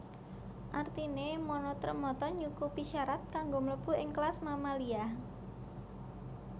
Artiné monotremata nyukupi syarat kanggo mlebu ing kelas Mamalia